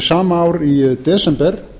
sama ár í desember